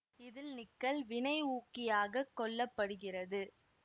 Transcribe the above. இதில் நிக்கல் வினை ஊக்கியாகக் கொள்ள படுகிறது